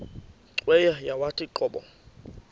cweya yawathi qobo